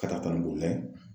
Katakatanin boli la ye.